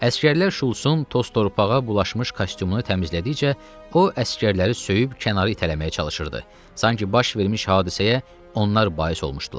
Əsgərlər Şultsun toz-torpağa bulaşmış kostyumunu təmizlədikcə, o, əsgərləri söyüb kənara itələməyə çalışırdı, sanki baş vermiş hadisəyə onlar bais olmuşdular.